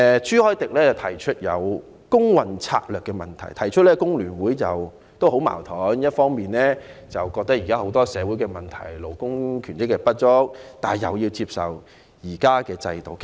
朱凱廸議員提出工運策略的問題，指工聯會十分矛盾，一方面覺得現時有很多社會問題、勞工權益不足，但另一方面又要接受現時的制度。